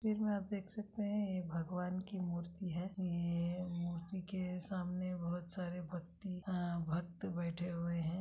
चित्र में आप देख सकते हैं ये भगवान की मूर्ति है ये-ये मूर्ति के सामने बहोत सारे भक्ति अ-भक्त बैठे हुए हैं।